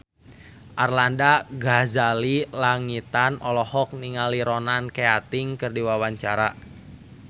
Arlanda Ghazali Langitan olohok ningali Ronan Keating keur diwawancara